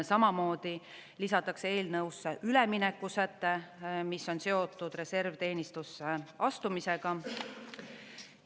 Samamoodi lisatakse eelnõusse ülemineku säte, mis on seotud reservteenistusse astumisega.